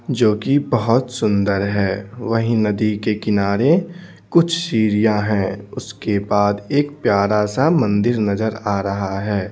जो कि बहुत सुंदर है वहीं नदी के किनारे कुछ सीरियां हैं उसके बाद एक प्यारा सा मंदिर नजर आ रहा है।